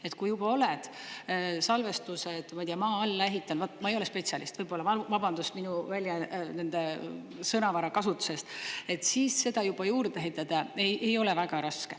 Et kui juba oled salvestused, ma ei tea, maa alla ehitanud, ma ei ole spetsialist, võib-olla, vabandust minu sõnavara kasutuse eest, siis seda juba juurde ehitada ei ole väga raske.